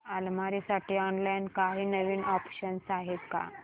अलमारी साठी ऑनलाइन काही नवीन ऑप्शन्स आहेत का